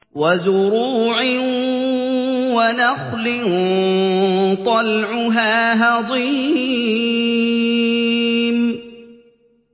وَزُرُوعٍ وَنَخْلٍ طَلْعُهَا هَضِيمٌ